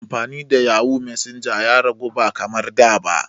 Amfani da yahoo messenger ya ragu ba kamar da ba.